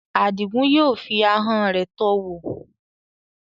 Adigun yóò fi ahọ́n rẹ̀ tọ́ ọ wò.